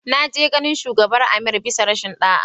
Na je ganin shugabar Amir bisa rashin da'a.